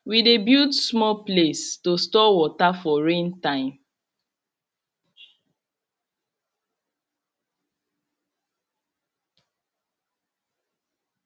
we de build small place to store water for rain time